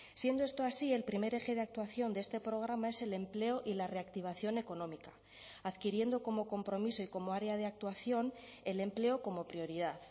siendo esto así el primer eje de actuación de este programa es el empleo y la reactivación económica adquiriendo como compromiso y como área de actuación el empleo como prioridad